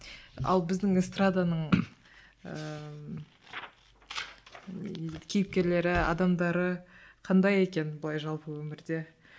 ал біздің эстраданың ыыы кейіпкерлері адамдары қандай екен былай жалпы өмірде